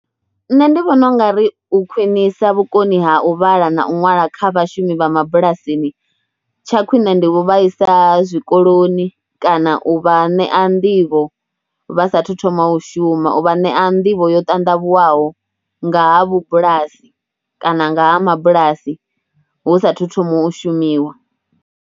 Nṋe ndi vhona u nga ri u khwinisa vhukoni ha u vhala na u ṅwala kha vhashumi vha mabulasini tsha khwine ndi u vha isa zwikoloni kana u vha ṋea nḓivho vha saathu thoma u shuma. U vha ṋea nḓivho yo ṱandavhuwaho nga ha vhubulasi kana nga ha mabulasi hu satahu thoma u shumiwa.